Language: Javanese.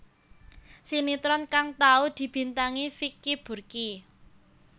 Sinétron kang tau dibintangi Vicky Burky